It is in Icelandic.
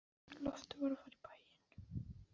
Loftur var að fara í bæinn.